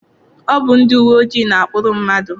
Ọ bụ ndị uwe ojii na-akpụrụ mmadụ.